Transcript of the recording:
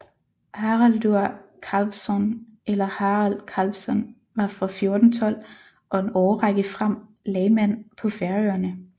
Haraldur Kálvsson eller Harald Kalvsson var fra 1412 og en årrække frem lagmand på Færøerne